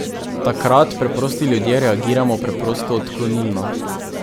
Takrat preprosti ljudje reagiramo preprosto odklonilno.